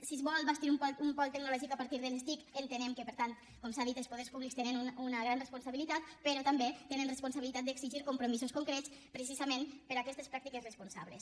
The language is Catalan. si es vol bastir un pol tecnològic a partir de les tic entenem que per tant com s’ha dit els poders públics hi tenen una gran responsabilitat però també tenen responsabilitat d’exigir compromisos concrets precisament per a aquestes pràctiques responsables